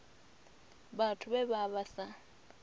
vhathu vhe vha vha sa